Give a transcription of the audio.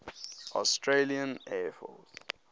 australian air force